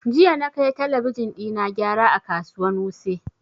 Jiya na kai talabijin ɗina gyara a kasuwan wuse